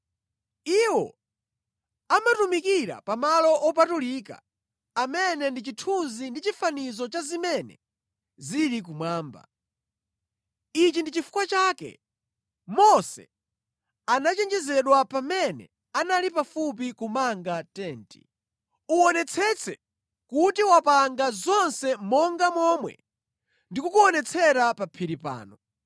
Iwo amatumikira pamalo opatulika amene ndi chithunzi ndi chifanizo cha zimene zili kumwamba. Ichi ndi chifukwa chake Mose anachenjezedwa pamene anali pafupi kumanga Tenti: “Uwonetsetse kuti wapanga zonse monga momwe ndikukuonetsera pa phiri pano.”